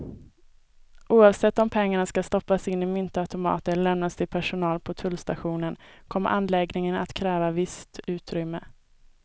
Oavsett om pengarna ska stoppas in i myntautomater eller lämnas till personal på tullstationen kommer anläggningen att kräva visst utrymme.